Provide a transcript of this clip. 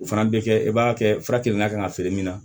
O fana bɛ kɛ e b'a kɛ fura kelen na kan ka feere min na